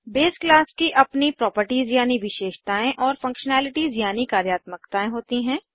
base class की अपनी properties यानि विशेषतायें और फंक्शनैलिटीज़ यानि कार्यात्मकताएं होती हैं